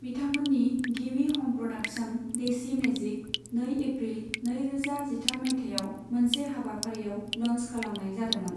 बिथांमोननि गिबि ह'म प्र'डाक्शन, देशी मेजिक, नै एप्रिल नैरोजा जिथाम माइथायाव मोनसे हाबाफारिआव ल'न्च खालामनाय जादोंमोन।